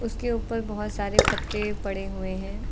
उसके ऊपर बहोत सारे पत्ते पड़े हुए हैं।